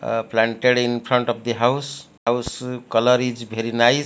ah planted infront of the house house colour is very nice.